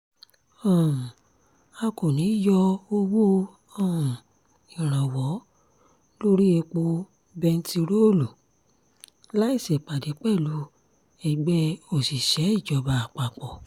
um a kò ní í yọ owó um ìrànwọ́ lórí epo bẹntiróòlù láì ṣèpàdé pẹ̀lú ẹgbẹ́ òṣìṣẹ́-ìjọba àpapọ̀